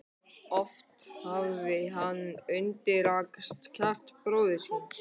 Oft hafði hann undrast kjark bróður síns.